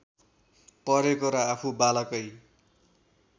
परेको र आफू बालकै